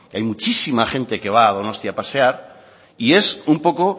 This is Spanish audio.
hay muchísima gente que va a donostia a pasear y es un poco